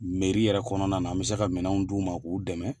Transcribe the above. yɛrɛ kɔnɔna na an bɛ se ka minɛnw d'u ma k'u dɛmɛ.